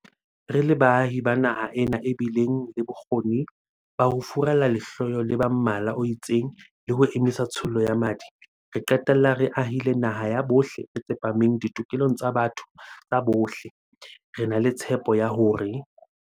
Re le baahi ba naha ena e bileng le bokgoni ba ho furalla lehloyo la ba mmala o itseng le ho emisa tshollo ya madi, ra qetella re ahile naha ya bohle e tsepameng ditokelong tsa botho tsa bohle, re na le tshepo ya hore